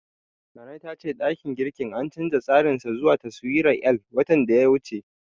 Nana ta ce ɗakin girkin an canja tsarin sa zuwa taswirar L, watan da ya wuce.